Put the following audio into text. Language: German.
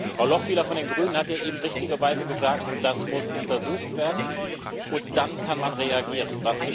Frau Lochbihler von den Grünen hat eben richtigerweise gesagt Das muss untersucht werden und dann kann man reagieren.